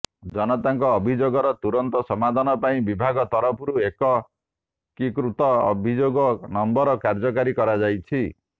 ଜନତାଙ୍କ ଅଭିଯୋଗର ତୁରନ୍ତ ସମାଧାନ ପାଇଁ ବିଭାଗ ତରଫରୁ ଏକ ଏକୀକୃତ ଅଭିଯୋଗ ନମ୍ବର କାର୍ଯ୍ୟକାରୀ କରାଯାଇଛି